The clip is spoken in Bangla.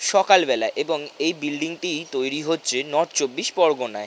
সকালবেলা এবং এই বিল্ডিং -টি তৈরী হচ্ছে নর্থ চব্বিশ পরগনায়।